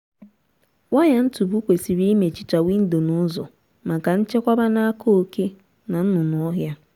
waya ntupu kwesịrị imechicha windo na ụzọ maka nchekwba n'aka oké na nnụnụ ọhịa